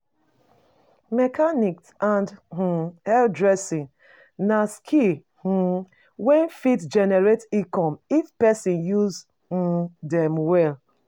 Mechanics and um hairdressing na skills um wey fit generate income if pesin use um dem well.